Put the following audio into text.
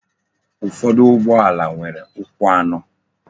Ụfọdụ ụgbọala nwere ukwu anọ.